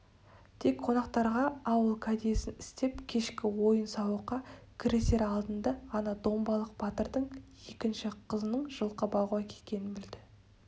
тек қонақтарға ауыл кәдесін істеп кешкі ойын-сауыққа кірісер алдында ғана домбалық батырдың екінші қызының жылқы бағуға кеткенін білді